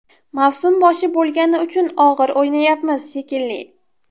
Mavsum boshi bo‘lgani uchun og‘ir o‘ynayapmiz, shekilli.